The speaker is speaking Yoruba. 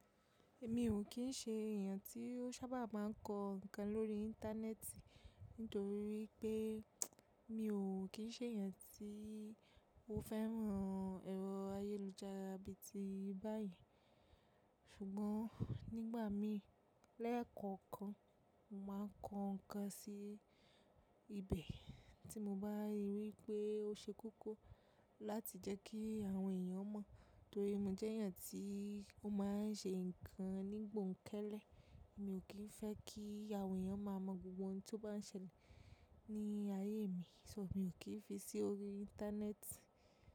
Èmi ò kín ń ṣe èèyàn tí ó sábà máa ń kọ ǹkan lórí íńtánẹ́ẹ̀tì nítorí pé mi ò kín ń ṣe èèyàn tí ó fẹ́ran ẹ̀rọ ayélujára bí i ti báyen. Ṣùgbọ́n nígbà mí lẹ́ẹ̀kọ̀kan, mo máa ń kọ ǹkan sí ibẹ̀ tí mo bá rí i wipé ó ṣe kókó láti jẹ́ kí àwọn èèyàn mọ̀. Nítorí mo jẹ́ èèyàn tí ó máa ń ṣe ǹkan nígbọ̀n kẹ́lẹ́. Mi ò kín fẹ́ kí àwọn èèyàn máa mọ gbogbo ohun tí ó bá ń ṣẹlẹ̀ ní ayé mi, só mi ò kín fi sí orí íńtánẹ́ẹ̀tì.